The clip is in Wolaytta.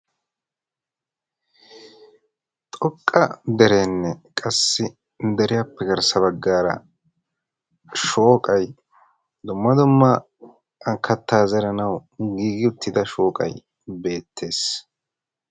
xoqqa dereenne qassi deriyaappe garssa baggaara shooqay dumma dumma kattaa zeranawu giigi uttida shooqay beettes.